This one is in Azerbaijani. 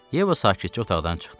Yeva sakitcə otaqdan çıxdı.